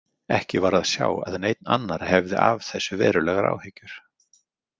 Ekki var að sjá að neinn annar hefði af þessu verulegar áhyggjur.